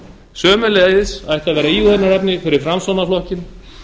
sömuleiðis ætti að vera íhugunarefni fyrir framsóknarflokkinn